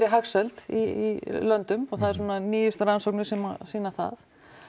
hagsæld í löngum og það eru svona nýjustu rannsóknir sem sýna það